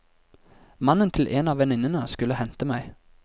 Mannen til en av venninnene skulle hente meg.